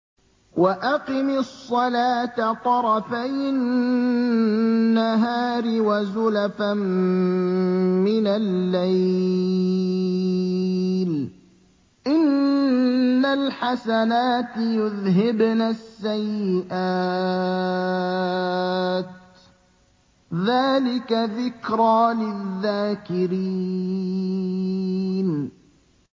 وَأَقِمِ الصَّلَاةَ طَرَفَيِ النَّهَارِ وَزُلَفًا مِّنَ اللَّيْلِ ۚ إِنَّ الْحَسَنَاتِ يُذْهِبْنَ السَّيِّئَاتِ ۚ ذَٰلِكَ ذِكْرَىٰ لِلذَّاكِرِينَ